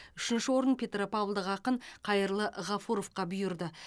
үшінші орын петропавлдық ақын қайырлы ғафуровқа бұйырды